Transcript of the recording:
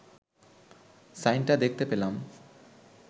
সাইনটা দেখতে পেলাম